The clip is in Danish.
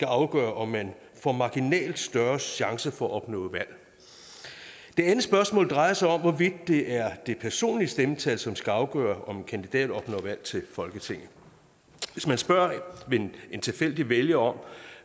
afgøre om man får marginalt større chance for at opnå valg det andet spørgsmål drejer sig om hvorvidt det er det personlige stemmetal som skal afgøre om en kandidat opnår valg til folketinget hvis man spørger en tilfældig vælger om